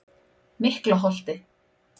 Miklaholti